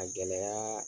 A gɛlɛya